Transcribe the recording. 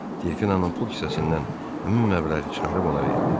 Delfinanın pul kisəsindən həmin məbləği çıxarıb ona verdi.